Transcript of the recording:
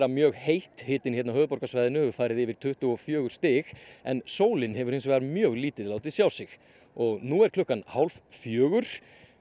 mjög heitt hitinn hérna á höfuðborgarsvæðinu hefur farið yfir tuttugu og fjögur stig en sólin hefur hins vegar mjög lítið látið sjá sig nú er klukkan hálf fjögur